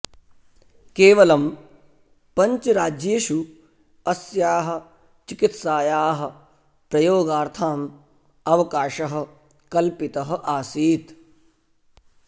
केवलं पञ्चराज्येषु अस्याः चिकित्सायाः प्रयोगार्थां अवकाशः कल्पितः आसीत्